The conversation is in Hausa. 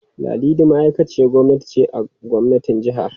Ladidi ma'aikaciyar gwamnati ce a gwamnatin jihar.